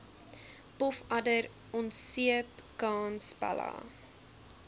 pofadder onseepkans pella